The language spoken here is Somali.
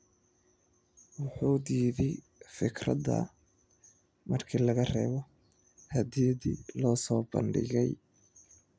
Wuxu diiday fikradda marka laga reebo hadyadihii loo soo bandhigay.